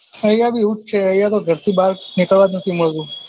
ઐયા ભી એવું જ છે ઐયા તો ઘરની બાર નીકળવા નથી મળતું